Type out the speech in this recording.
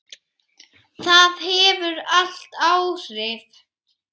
Það hefur allt áhrif.